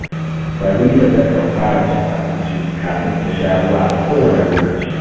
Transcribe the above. Farida takan fara cin abinci kafin ta sha ruwa a kowane lokaci